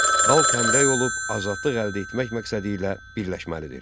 Xalq həmrəy olub azadlıq əldə etmək məqsədilə birləşməlidir.